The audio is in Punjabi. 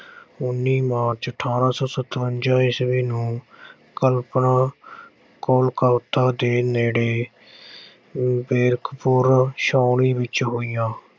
ਉੱਨੀ ਮਾਰਚ ਅਠ੍ਹਾਰਾਂ ਸੌ ਸਤਵੰਜਾ ਈਸਵੀ ਨੂੰ ਦੇ ਨੇੜੇ ਬੈਰਕਪੁਰ ਛਾਉਣੀ ਵਿੱਚ ਹੋਈਆਂ।